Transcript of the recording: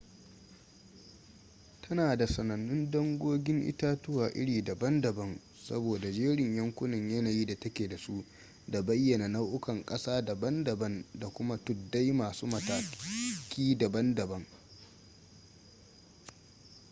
tana da sanannun dangogin itatuwa iri daban-daban sabo da jerin yankunan yanayi da ta ke da su da bayyana nau'ukan ƙasa daban-daban da kuma tuddai masu mataki daban-daban